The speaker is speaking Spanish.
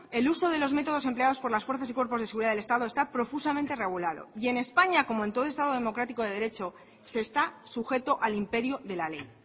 el uso de los métodos empleados por las fuerzas y cuerpos de seguridad del estado está profusamente regulado y en españa como en todo estado democrático de derecho se está sujeto al imperio de la ley